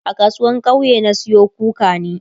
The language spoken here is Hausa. a kasuwan kauye na Sayo kukani